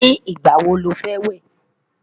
ní igbà wò ló fé wẹ?